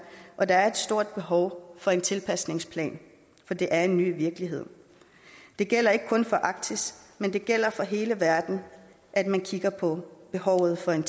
og der er et stort behov for en tilpasningsplan for det er en ny virkelighed det gælder ikke kun for arktis men det gælder for hele verden at man kigger på behovet for en